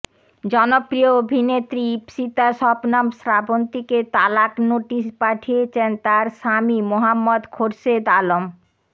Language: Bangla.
জনপ্রিয় অভিনেত্রী ইপসিতা শবনম শ্রাবন্তীকে তালাক নোটিশ পাঠিয়েছেন তার স্বামী মোহাম্মদ খোরশেদ আলম